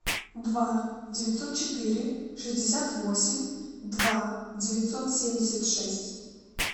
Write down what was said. два девятьсот четыре шестьдесят восемь два девятьсот семьдесят шесть